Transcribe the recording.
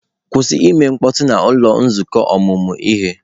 Kwụsị ime mkpọtụ n'ụlọ nzukọ ọmụmụ ihe!